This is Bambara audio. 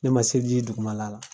Ne ma se ji dugumala la